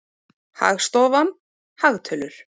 Hagstofan- hagtölur.